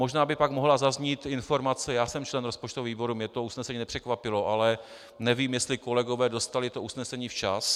Možná by pak mohla zaznít informace - já jsem člen rozpočtového výboru, mě to usnesení nepřekvapilo, ale nevím, jestli kolegové dostali to usnesení včas.